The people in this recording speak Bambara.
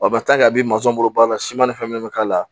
a bɛ bolo baara la siman ni fɛn min bɛ k'a la